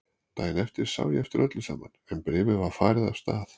Daginn eftir sá ég eftir öllu saman en bréfið var farið af stað.